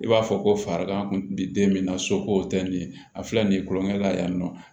I b'a fɔ ko fa kan kun bi den min na soko tɛ nin ye a filɛ nin ye tulonkɛ la yan nɔ